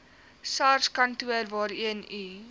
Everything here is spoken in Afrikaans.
sarskantoor waarheen u